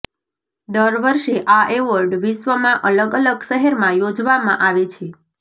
દર વર્ષે આ એવોર્ડ વિશ્વમાં અલગ અલગ શહેરમાં યોજવામાં આવે છે